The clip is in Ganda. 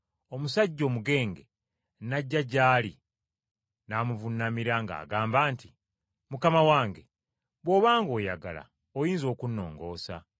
Omusajja omugenge n’ajja gy’ali n’amuvuunamira ng’agamba nti, “Mukama wange, bw’obanga oyagala oyinza okunnongoosa.”